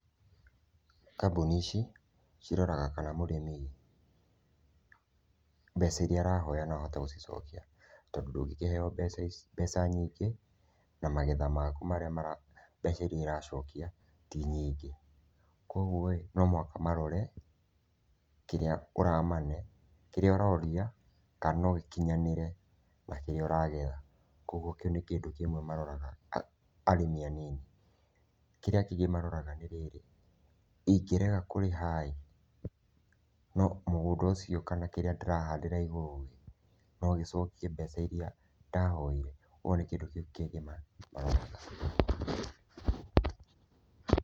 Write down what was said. Kambuni ici ciroraga mũrĩmi mbeca iria arahoya no ahote gũcicokia tondũ ndũngĩkĩheo mbeca nyingĩ na magetha maku na magetha maku mbeca iria iracokia ti nyingĩ, kũoguo no mũhaka marore kĩrĩa ũramane, kĩrĩa ũroria kana no gĩkinyanĩre na kĩrĩa ũragetha. Kwoguo kĩu nĩ kĩndũ kĩmwe maroraga arĩmi anini. Kĩrĩa kĩngĩ marora-ĩ nĩ rĩrĩ, ingĩrega kũrĩha-ĩ no mũgũnda ũcio kana kĩrĩa ndĩrahandĩra igũrũ no gĩcokie mbeca iria ndahoire kũoguo nĩ kĩndũ kingĩma